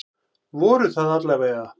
Voru það alla vega.